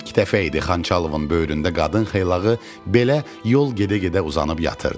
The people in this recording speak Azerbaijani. İlk dəfə idi Xançalovun böyründə qadın xeylağı belə yol gedə-gedə uzanıb yatırdı.